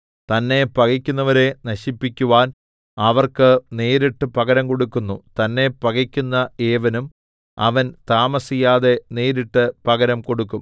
തന്നെ പകയ്ക്കുന്നവരെ നശിപ്പിക്കുവാൻ അവർക്ക് നേരിട്ട് പകരം കൊടുക്കുന്നു തന്നെ പകക്കുന്ന ഏവനും അവൻ താമസിയാതെ നേരിട്ട് പകരം കൊടുക്കും